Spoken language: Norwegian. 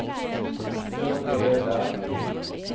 Børge Løberg